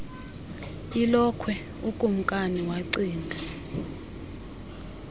ilokhwe ukumnkani wacinga